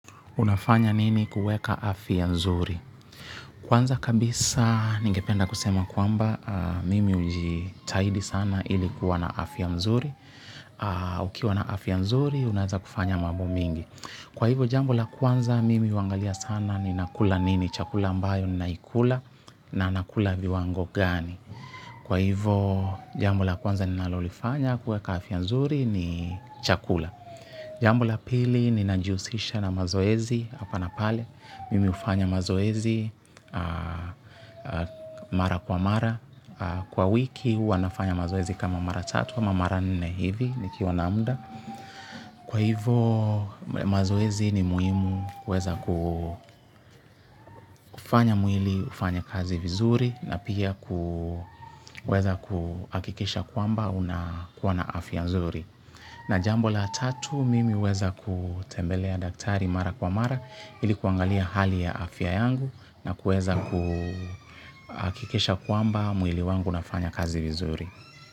Unafanya nini kuweka afya nzuri. Kwanza kabisa ningependa kusema kwamba mimi hujitaidi sana ilikuwa na afya mzuri. Ukiwa na afya nzuri, unaeza kufanya mambo mingi. Kwa hivyo, jambo la kwanza mimi huangalia sana ni nakula nini, chakula ambayo ni naikula na nakula viwango gani. Kwa hivyo, jambo la kwanza ninalolifanya kuweka afya nzuri ni chakula. Jambo la pili ninajihusisha na mazoezi hapa na pale, mimi hufanya mazoezi mara kwa mara, kwa wiki huwa nafanya mazoezi kama mara tatu ama mara nne hivi nikiwa na muda. Kwa hivo mazoezi ni muhimu huweza kufanya mwili ufanye kazi vizuri na pia kuweza kuhakikisha kwamba unakuwa na afya nzuri. Na jambo la tatu mimi huweza kutembelea daktari mara kwa mara ilikuangalia hali ya afya yangu na kueza kuhakikisha kwamba mwili wangu unafanya kazi vizuri.